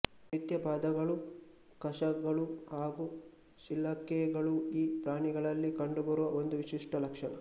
ಮಿಥ್ಯಪಾದಗಳು ಕಶಗಳು ಹಾಗು ಶಿಲಕೆಗಳು ಈ ಪ್ರಾಣಿಗಳಲ್ಲಿ ಕಂಡುಬರುವ ಒಂದು ವಿಶಿಷ್ಟ ಲಕ್ಷಣ